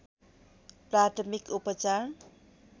प्राथमिक उपचार